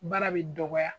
Baara bɛ dɔgɔya